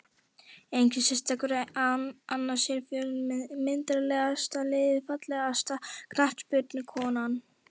Enginn sérstakur annars er fjölnir með myndarlegasta liðið Fallegasta knattspyrnukonan?